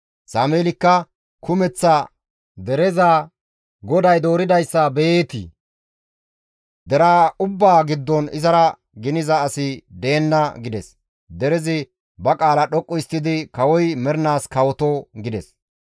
Sameelikka kumeththa dereza, «GODAY dooridayssa beyeetii? Deraa ubbaa giddon izara giniza asi deenna» gides; derezi ba qaala dhoqqu histtidi, «Kawoy mernaas kawoto!» gides.